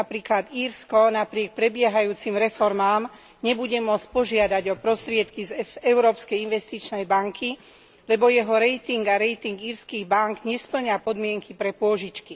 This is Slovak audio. Napríklad Írsko napriek prebiehajúcim reformám nebude môcť požiadať o prostriedky z Európskej investičnej banky, lebo jeho rating a rating írskych bánk nespĺňa podmienky pre pôžičky.